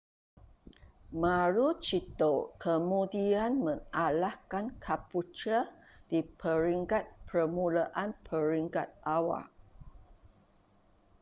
maroochydore kemudian mengalahkan caboolture di peringkat permulaan peringkat awal